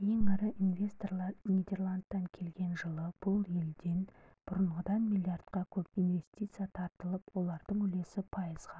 ең ірі инвесторлар нидерландтан келген жылы бұл елден бұрынғыдан миллиардқа көп инвестиция тартылып олардың үлесі пайызға